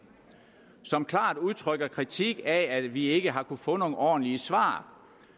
som klart udtrykker kritik af at vi ikke har kunnet få nogen ordentlige svar